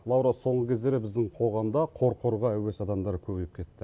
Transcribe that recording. лаура соңғы кездері біздің қоғамда қорқорға әуес адамдар көбейіп кетті